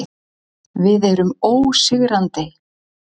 Við erum ósigrandi.